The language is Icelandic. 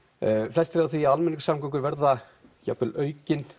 flestir eru á því að almenningssamgöngur verða jafnvel aukinn